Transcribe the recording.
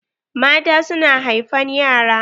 Mata su na haifan yara.